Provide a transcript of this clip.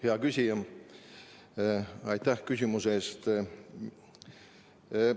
Hea küsija, aitäh küsimuse eest!